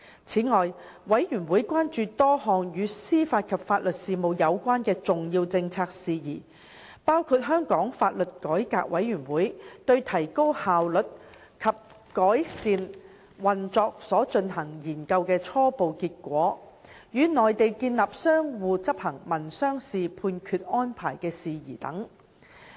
此外，事務委員會關注多項與司法及法律事務有關的重要政策事宜，包括香港法律改革委員會對提高效率及改善運作所進行研究的初步結果、與內地建立相互執行民商事判決安排的事宜等。